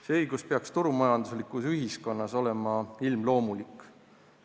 See õigus peaks turumajanduslikus ühiskonnas olema ilmloomulik.